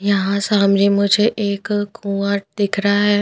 यहाँ सामने मुझे एक कुआँ दिख रहा है।